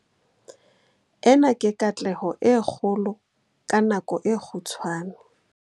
Ena ke katleho e kgolo ka nako e kgutshwane.